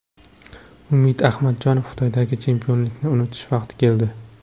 Umid Ahmadjonov: Xitoydagi chempionlikni unutish vaqti keldi.